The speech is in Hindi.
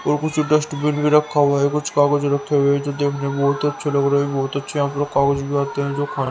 और कुछ डस्ट बिन भी रखा हुआ है कुछ कागज रखे हुए हैं जो देखने बहुत अच्छे लग रहे हैं बहुत अच्छे यहां पर कागज भी आते हैं जो--